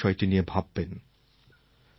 আপনি নিশ্চয়ই বিষয়টি নিয়ে ভাববেন